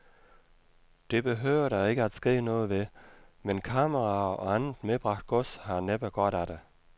Det behøver der ikke at ske noget ved, men kameraer og andet medbragt gods har næppe godt af det.